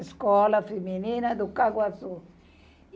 Escola feminina do Caguassu.